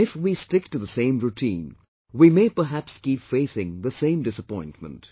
And if we stick to the same routine, we may perhaps keep facing the same disappointment